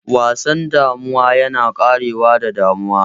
Wasan damuwa yana ƙarewa da damuwa.